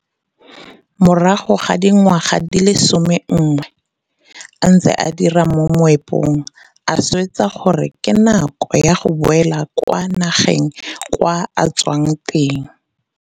Morago ga dingwaga tse di leng somenngwe a ntse a dira mo moepong, a swetsa gore ke nako ya go boela kwa nageng kwa a tswang teng.